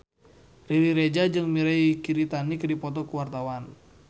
Riri Reza jeung Mirei Kiritani keur dipoto ku wartawan